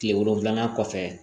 Kile wolonfila kɔfɛ